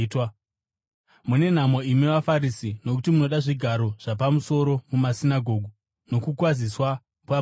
“Mune nhamo imi vaFarisi, nokuti munoda zvigaro zvapamusoro mumasinagoge nokukwaziswa pamisika.”